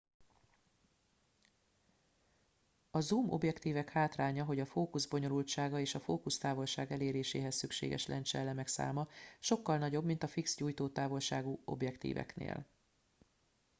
a zoom objektívek hátránya hogy a fókusz bonyolultsága és a fókusztávolság eléréséhez szükséges lencseelemek száma sokkal nagyobb mint a fix gyújtótávolságú objektíveknél